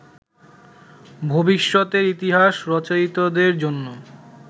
ভবিষ্যতের ইতিহাস রচয়িতাদের জন্য